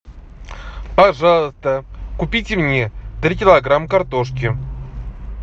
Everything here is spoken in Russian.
пожалуйста купите мне три килограмма картошки